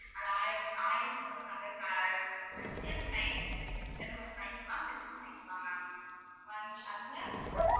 அந்த ஆயிரம் ஆயிரம் photo வ நாங்க க~ வச்சு அதுல size ல இருக்கு நீங்க சின்னதா வாங்கிலா இல்ல பெருசும் வாங்கிகலா ma'am அதுல